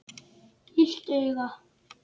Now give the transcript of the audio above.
Illt auga.